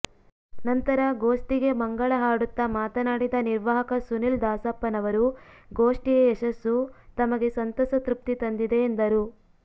ನಂತರ ಗೋಷ್ತಿಗೆ ಮಂಗಳ ಹಾಡುತ್ತ ಮಾತನಾಡಿದ ನಿರ್ವಾಹಕ ಸುನಿಲ್ ದಾಸಪ್ಪನವರು ಗೋಷ್ಠಿಯ ಯಶಸ್ಸು ತಮಗೆ ಸಂತಸ ತೃಪ್ತಿ ತಂದಿದೆ ಎಂದರು